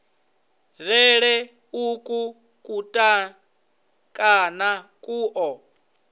lele uku kutukana ku ḓo